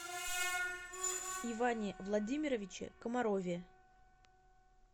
иване владимировиче комарове